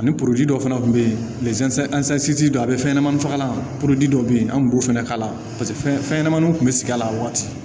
Ani dɔ fɛnɛ kun be yen a be fɛn ɲɛnɛmani fagalan dɔ bɛ yen an kun b'o fɛnɛ k'a la fɛnɲɛnamaninw tun bɛ sigi a la a wagati